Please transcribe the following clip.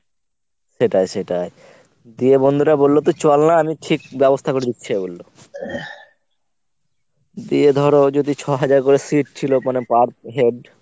সেটাই সেটাই। দিয়ে বন্ধুরা বললো তো চল না আমি ঠিক ব্যবস্থা করে দিচ্ছি ও বললো। দিয়ে ধর ও যদি ছ’হাজার করে seat ছিলো মানে per head.